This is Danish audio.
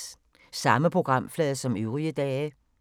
Samme programflade som øvrige dage